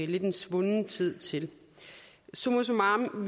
lidt en svunden tid til summa summarum